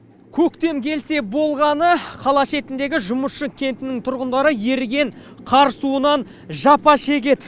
көктем келсе болғаны қала шетіндегі жұмысшы кентінің тұрғындары еріген қар суынан жапа шегеді